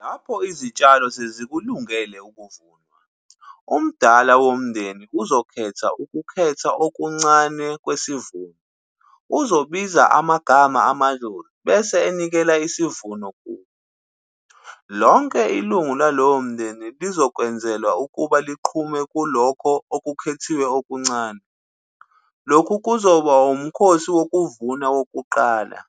Lapho izitshalo sezikulungele ukuvunwa, umdala womndeni uzokhetha ukukhetha okuncane kwesivuno. Uzobiza amagama amadlozi bese enikela isivuno kubo. Lonke ilungu lalowo mndeni lizokwenzelwa ukuba liqhume kulokho okukhethiwe okuncane. Lokhu kuzoba umkhosi wokuvuna kokuqala.